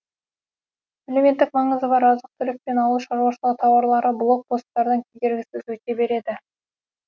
әлеуметтік маңызы бар азық түлік пен ауыл шаруашылығы тауарлары блок посттардан кедергісіз өте береді